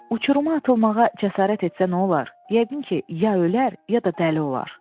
Uçuruma atılmağa cəsarət etsə nə olar, yəqin ki, ya ölər, ya da dəli olar.